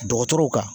Dɔgɔtɔrɔw kan